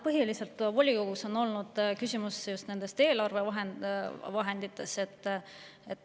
Põhiliselt on volikogus olnud küsimus just eelarvevahendites.